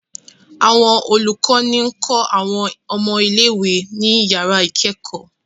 Awọn olukọni kọ awọn ọmọ ile-iwe ni yara ikẹkọ